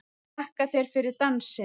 Þakka þér fyrir dansinn!